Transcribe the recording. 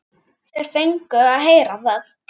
Þeir fengu að heyra það.